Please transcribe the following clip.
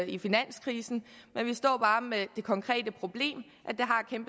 i finanskrisen men vi står bare med det konkrete problem